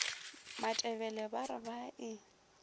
matebele ba re ba e